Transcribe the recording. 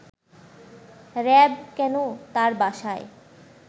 RAB কেন তার বাসায়